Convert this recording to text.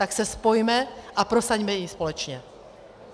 Tak se spojme a prosaďme ji společně.